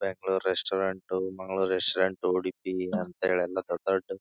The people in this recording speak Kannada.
ಬೆಂಗಳೂರು ರೆಸ್ಟೋರೆಂಟ್ ಮಂಗಳೂರ್ ರೆಸ್ಟೋರೆಂಟ್ ಉಡುಪಿ ಅಂತೇಳಿ ಎಲ್ಲ ದೊಡ್ಡ್ ದೊಡ್ಡ್--